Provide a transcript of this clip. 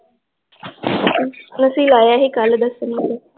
ਅਸੀਂ ਲਾਇਆ ਸੀ ਕਲ ਦੱਸਣ ਵਾਸਤੇl ਅੱਛਆ ਚਕਿਆ ਏ ਈ ਨੀਂ ਉਨਾਂ ਨੇ ਆਸ਼ਯਾ ਫ਼ੇਰ